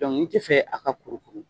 ni te fɛ a ka kurukuru